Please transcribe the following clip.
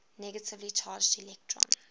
negatively charged electrons